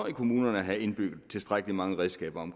i kommunerne have indbygget tilstrækkelig mange redskaber